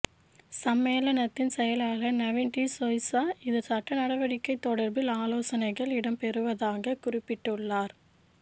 சம்மேளனத்தின் செயலாளர் நவின் டி சொய்ஸா இது சட்டநடவடிக்கை தொடர்பில் ஆலோசனைகள் இடம்பெறுவதாக குறிப்பிட்டுள்ளார்